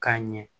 K'a ɲɛ